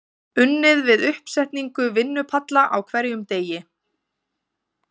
Unnið við uppsetningu vinnupalla á hverjum degi.